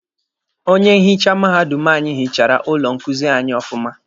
Onye nhicha mahadum anyi hichara ụlọ nkuzi anyị ọfụma.